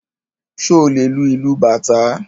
Ṣé o lè lu ìlù Bàtá?